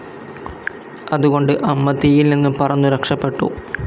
അതുകൊണ്ട് അമ്മ തീയിൽ നിന്നും പറന്നു രക്ഷപെട്ടു.